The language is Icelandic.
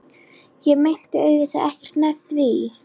Ég meinti auðvitað ekkert með því.